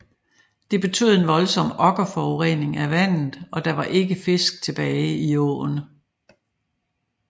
Det betød en voldsom okkerforurening af vandet og der var ikke fisk tilbage i åen